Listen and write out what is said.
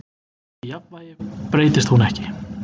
Í jafnvægi breytist hún ekki.